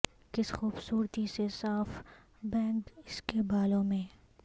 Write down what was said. کس خوبصورتی سے صاف بینگ اس کے بالوں میں